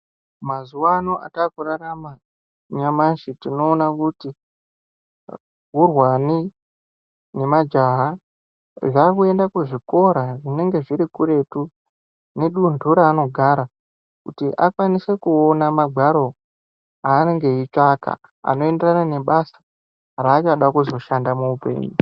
Mazuva ano ataku rarama nyamashi tinoona kuti hurwani ne majaha zvakuenda ku zvikora zvinenge zviri kuretu ne dundu raano gara kuti akwanise kuona mangwaro anenge eyi tsvaka ano enderana ne basa raachada kuzo shanda mu upenyu.